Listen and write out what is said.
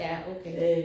Ja okay